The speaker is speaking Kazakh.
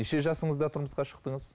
неше жасыңызда тұрмысқа шықтыңыз